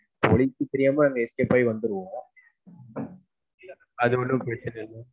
போலீஸ்க்கு தெரியாம escape ஆகி வந்துருவோம். அ து ஒன்னும் பிரச்சனை இல்ல.